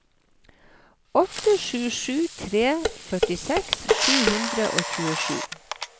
åtte sju sju tre førtiseks sju hundre og tjuesju